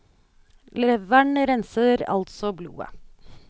Leveren renser altså blodet.